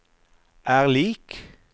er lik